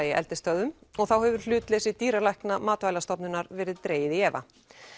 í eldisstöðvum og þá hefur hlutleysi dýralækna Matvælastofnunar verið dregið í efa